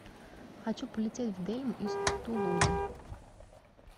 хочу полететь в дельму из тулузы